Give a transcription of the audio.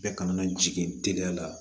Bɛɛ kana na jigin teliya la